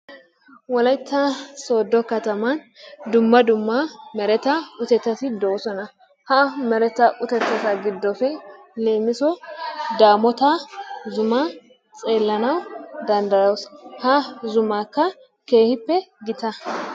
Wolaytta sooddo kattaman dumma dumma mereta utetati de'oosona. Ha mereta utettata giddoppe leemmsso daammoota zummaa tselanawu danddayoos, ha zummaykka keehippe gita.